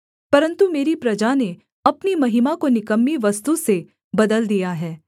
परन्तु मेरी प्रजा ने अपनी महिमा को निकम्मी वस्तु से बदल दिया है